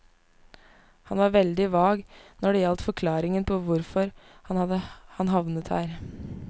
Han var veldig vag når det gjaldt forklaringen på hvorfor han havnet her.